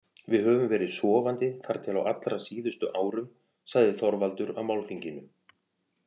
Við höfum verið sofandi þar til á allra síðustu árum, sagði Þorvaldur á málþinginu.